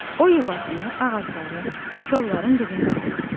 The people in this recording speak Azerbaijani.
O yuvasını ağacların, kollların dibində qurur.